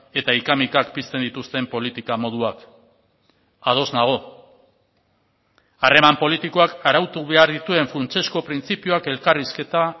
eta ika mikak pizten dituzten politika moduak ados nago harreman politikoak arautu behar dituen funtsezko printzipioak elkarrizketa